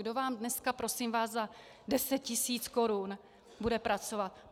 Kdo vám dneska, prosím vás, za 10 tisíc korun bude pracovat?